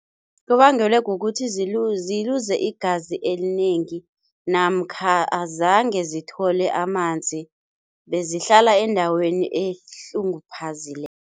Kubangelwe kukuthi ziluze igazi elinengi namkha azange zithole amanzi, bezihlala endaweni